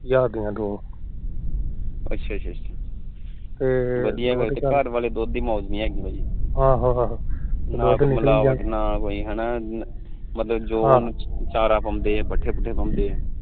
ਮਤਲਬ ਜੋ ਚਾਰਾ ਪਾਉਂਦੇ ਪੱਠੇ ਪੁਠੇ ਪਾਉਂਦੇ